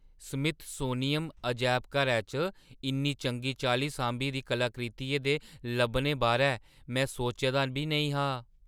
Smithsonian अजैबघरै च इन्नी चंगी चाल्ली सांभी दी कलाकृतियें दे लब्भने बारै में सोच्चे दा बी नेईं हा।